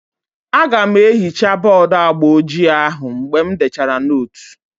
Aga m ehichaa bọọdu agba ojii ahụ mgbe m dechara nootu